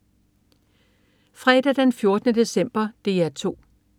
Fredag den 14. december - DR 2: